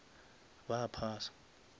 ba phasa